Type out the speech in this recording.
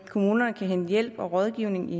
kommunerne kan hente hjælp og rådgivning i